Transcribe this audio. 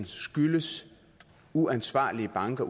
skyldes uansvarlige banker